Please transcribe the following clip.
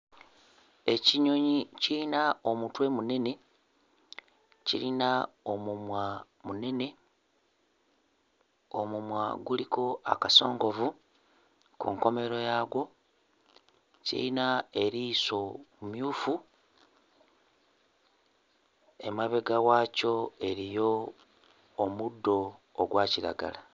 Ekinyonyi kiyina omutwe munene, kirina omumwa munene. Omumwa guliko akasongovu ku nkomerero yaagwo, kirina eriiso mmuyufu; emabega waakyo eriyo omuddo ogwa kiragala.